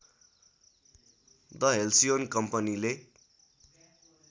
the Halcyon कम्पनीले